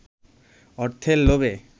অর্থের লোভে